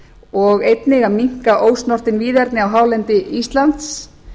og einnig að minnka ósnortin víðerni á hálendi íslands